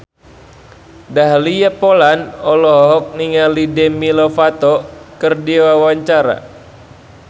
Dahlia Poland olohok ningali Demi Lovato keur diwawancara